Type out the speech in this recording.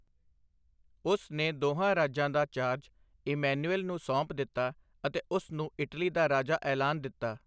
ਉਸ ਨੇ ਦੋਹਾਂ ਰਾਜਾਂ ਦਾ ਚਾਰਜ ਇਮੈਂਨੁਏਲ ਨੂੰ ਸੌਂਪ ਦਿੱਤਾ ਅਤੇ ਉਸ ਨੂੰ ਇਟਲੀ ਦਾ ਰਾਜਾ ਐਲਾਨ ਦਿੱਤਾ।